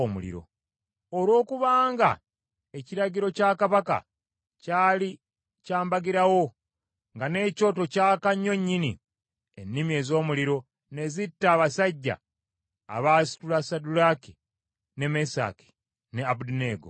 Olw’okubanga ekiragiro kya kabaka kyali kya mbagirawo nga n’ekyoto kyaka nnyo nnyini, ennimi ez’omuliro ne zitta abasajja abaasitula Saddulaaki, ne Mesaki ne Abeduneego.